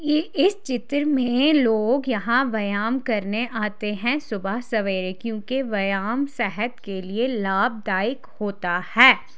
ये इस चित्र में लोग यहाँ व्यायाम करने आते है सुबह सवेरे क्युकी व्यायाम सेहत के लिए लाभ दायक होता है।